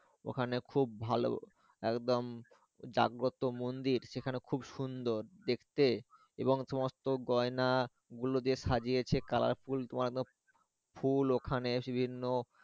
ওখানে খুব ভালো একদম জাগ্রত মন্দির সেখানে খুব সুন্দর দেখতে এবং সমস্ত গয়না গুলো দিয়ে সাজিয়েছে কালারফুল তোয়ানো ফুল ওখানে বিভিন্ন।